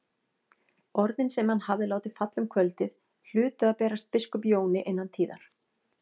Orðin sem hann hafði látið falla um kvöldið hlutu að berast biskup Jóni innan tíðar.